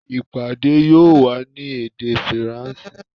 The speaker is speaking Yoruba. ìpàdé yóò wá ní èdè Faransé